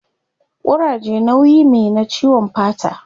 Kuraje nauyi me na ciwon fata